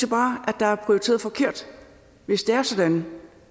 bare at der er prioriteret forkert hvis det er sådan